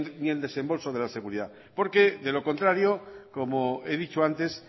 ni el desembolso de la seguridad porque de lo contrario como he dicho antes